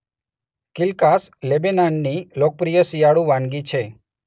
કીલ્કાસ લેબેનાનની લોકપ્રિય શિયાળુ વાનગી છે.